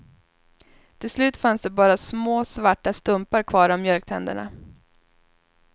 Till slut fanns det bara små svarta stumpar kvar av mjölktänderna.